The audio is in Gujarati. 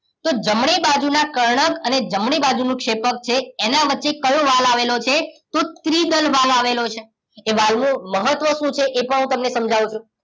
જમણી બાજુ ના કર્ણક અને જમણી બાજુ નું ક્ષેપકછે એના વચ્ચે કયો વાલ્વ આવેલો છે તો ત્રિદલ વાલ્વ આવેલો છે એ વાલની મહત્વ શું છે એ પણ હું તમને સમજાવું છુ